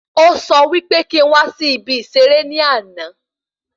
Ó sọ wí pé kí n wá sí ibi ìserẹ́ ní àna